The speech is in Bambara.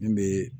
Min bɛ